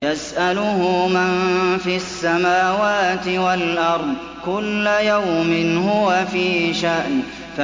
يَسْأَلُهُ مَن فِي السَّمَاوَاتِ وَالْأَرْضِ ۚ كُلَّ يَوْمٍ هُوَ فِي شَأْنٍ